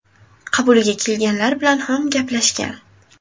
Qabuliga kelganlar bilan ham gaplashgan.